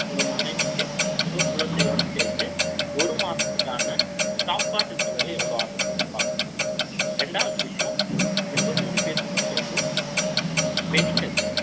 உங்க மனைவிக்கு, உங்க குழந்தையோட சேர்த்து, ஒரு மாசத்துக்கான, சாப்பாட்டு செலவு, எவ்வளவு ஆகுதுன்னு பார்க்கனும். இரண்டாவது விஷயம், உங்க மூணு பேர்த்துக்கும் சேர்த்து, medical,